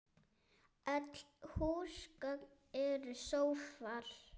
Öll húsgögn eru sófar